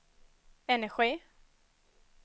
energi